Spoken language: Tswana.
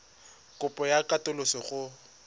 kopo ya katoloso le go